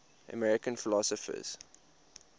american philosophers